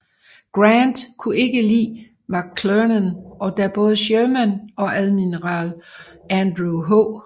Grant kunne ikke lide McClernand og da både Sherman og Admiral Andrew H